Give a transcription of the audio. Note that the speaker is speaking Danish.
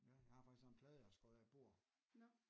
Ja jeg har faktisk sådan en plade jeg har skåret af et bord